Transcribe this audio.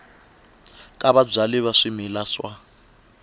ta vabyali va swimila wa